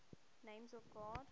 names of god